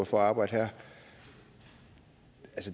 for at arbejde her og